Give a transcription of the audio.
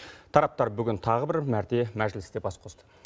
тараптар бүгін тағы бір мәрте мәжілісте бас қосты